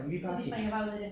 Og de springer bare ud i det